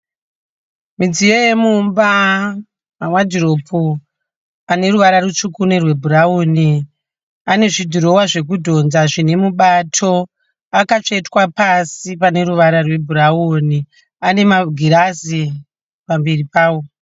Mudziyo yemumba, mawadhiropu. Aneruvara rutsvuku nerwebhurawuni. Ane zvidhirowa zvekudhodza zvinemubato. Akatsvetwa pasi pane ruvara rwebhurauni. Ane magirazi pamberi pawo.